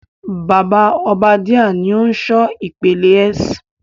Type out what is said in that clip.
Bàbá Obadiah ni o n ṣọ ìpele S.